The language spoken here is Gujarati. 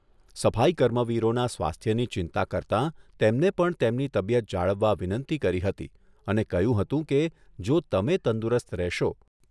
સફાઈ કર્મવીરોના સ્વાસ્થ્યની ચિંતા કરતાં તેમને પણ તેમની તબિયત જાળવવા વિનંતી કરી હતી અને કહ્યું હતું કે, જો તમે તંદુરસ્ત રહેશો.